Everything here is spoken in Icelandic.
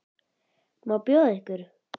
Hvað má bjóða ykkur?